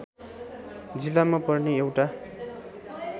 जिल्लामा पर्ने एउटा